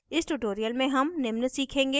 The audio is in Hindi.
इस tutorial में हम निम्न सीखेंगे